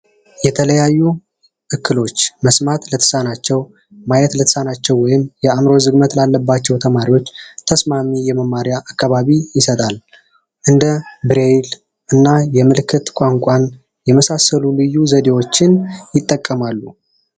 የተለያዩ እክሎች መስማት ለተሳናቸው ማየት ለተሳናቸው ወይም የአእምሮ ዝግመት ላለባቸው ተማሪዎች ተስማሚ የመማሪያ አካባቢ ይሰጣል። እንደ ብሬል እና የምልክት ቋንቋ የመሳሰሉ ዘዴዎችን ይጠቀማል።